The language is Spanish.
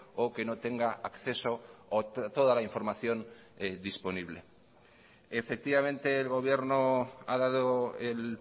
o que no tenga acceso o toda la información disponible efectivamente el gobierno ha dado el